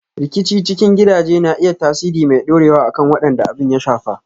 Rikici cikin gidaje na iya tasiri mai ɗorewa akan waɗanda abin ya shafa.